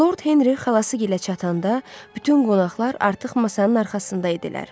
Lord Henri xalasıgilə çatanda, bütün qonaqlar artıq masanın arxasında idilər.